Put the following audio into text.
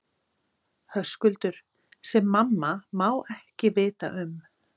Höskuldur: Sem mamma má ekki vita um?